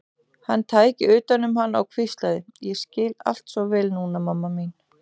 Hann tæki utan um hana og hvíslaði: Ég skil allt svo vel núna, mamma mín.